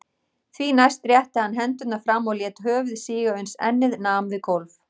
Því næst rétti hann hendurnar fram og lét höfuð síga uns ennið nam við gólf.